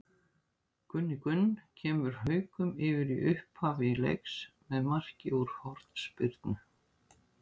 Gunni Gunn kemur Haukum yfir í upphafi leiks með marki úr hornspyrnu.